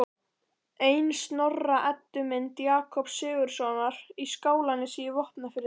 Ein Snorra-Eddu mynda Jakobs Sigurðssonar í Skálanesi í Vopnafirði